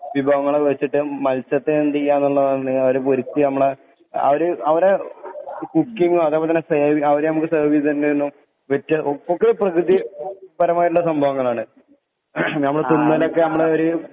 വിഭവങ്ങളെ വെച്ചിട്ട് മത്സ്യത്തെ എന്തീയാന്ന്ള്ളതാണ് അവരെ പൊരിച്ച് നമ്മളെ അവര് അവരെ കുക്കിങ്ങും അതെ പോലെ തന്നെ സേവ് അവര് നമക്ക് സെർവീതേര്ണ്ടേലു വ്യത്യ ഒക്കെ പ്രകൃതിപരമായ സംഭവങ്ങളാണ് ഞമ്മള് തിന്നണെക്കെ ഞമ്മളൊരു